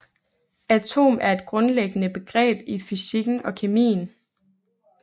Atom er et grundlæggende begreb i fysikken og kemien